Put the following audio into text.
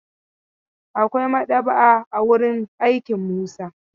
Akwai maɗaba'a a wurin aikin Musa.